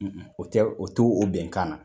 O tɛ o te o bɛnkan na